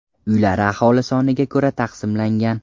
Uylar aholi soniga ko‘ra taqsimlangan.